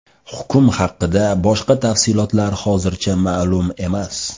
Hukm haqida boshqa tafsilotlar hozircha ma’lum emas.